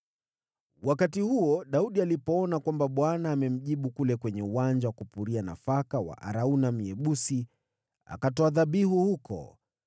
Wakati huo, Daudi alipoona kwamba Bwana amemjibu kule kwenye uwanja wa kupuria nafaka wa Arauna Myebusi, akatoa dhabihu huko.